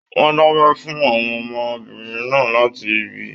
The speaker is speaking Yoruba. Wọn dabẹ fún àwọn ọmọbìnrin náà láti ibì.